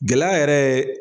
Gɛlɛya yɛrɛ ye